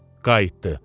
Qayıtdı.